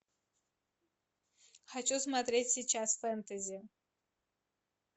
хочу смотреть сейчас фэнтези